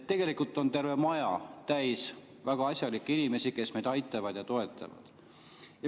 Tegelikult on terve maja täis väga asjalikke inimesi, kes meid aitavad ja toetavad.